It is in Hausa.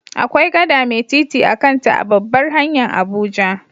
Akwai gada mai titi a'kan ta a'babbar hanya'n Abuja.